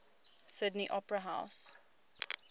sydney opera house